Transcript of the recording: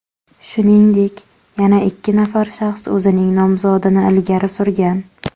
Shuningdek, yana ikki nafar shaxs o‘zining nomzodini ilgari surgan.